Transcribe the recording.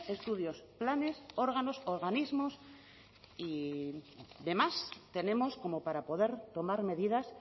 estudios planes órganos organismos y demás tenemos como para poder tomar medidas